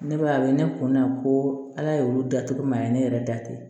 Ne ba a ye ne kun na ko ala y'olu da cogo min a ye ne yɛrɛ da ten